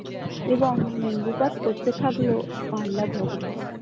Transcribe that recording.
এবং বিকাশ করতে থাকলো ।